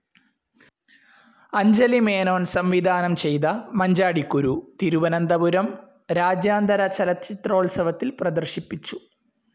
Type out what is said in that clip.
അഞ്ജലി മേനോൻ സംവിധാനം ചെയ്ത മഞ്ചാടിക്കുരു തിരുവനന്തപുരം രാജ്യാന്തര ചലച്ചിത്രോത്സവത്തിൽ പ്രദർശിപ്പിച്ചു.